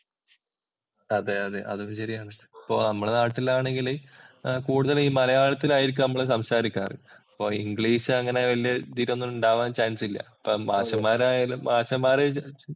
അതെയതെ അതൊരു ശരിയാണ്. അപ്പോ നമ്മുടെ നാട്ടിലാണെങ്കില് കൂടുതലും ഈ മലയാളത്തിലായിരിക്കും നമ്മള് സംസാരിക്കാറ്. അപ്പൊ ഇംഗ്ലീഷ് അങ്ങനെ വല്യ ഉണ്ടാവാന്‍ ചാന്‍സ് ഇല്ല